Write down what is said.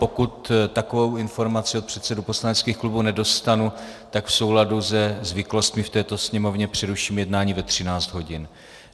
Pokud takovou informaci od předsedů poslaneckých klubů nedostanu, tak v souladu se zvyklostmi v této Sněmovně přeruším jednání ve 13 hodin.